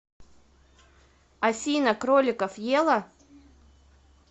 афина кроликов ела